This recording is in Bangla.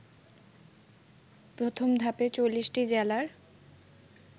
প্রথম ধাপে ৪০টি জেলার